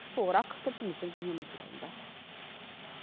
толығырақ тілшіміздің бейнематериялында